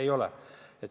Ei ole.